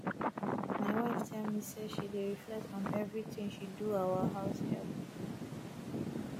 my wife tell me say she dey reflect on everything she do our house help